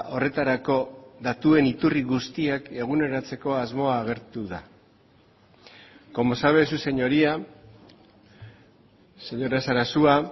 horretarako datuen iturri guztiak eguneratzeko asmoa agertu da como sabe su señoría señora sarasua